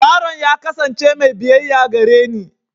Yaron ya kasance mai biyayya gareni.